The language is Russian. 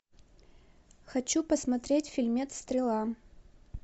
хочу посмотреть фильмец стрела